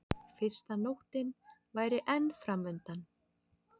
Fyrsta nóttin væri enn framundan.